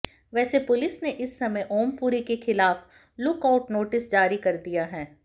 वैसे पुलिस ने इस समय ओमपुरी के खिलाफ लुकआउट नोटिस जारी कर दिया है